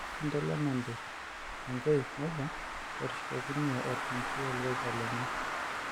EIshinda Lenante Tonkei nejo etushukokine orkingi olorika lenye.